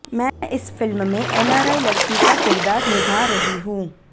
मैं इस फिल्म में एनआरआई लड़की का किरदार निभा रही हूं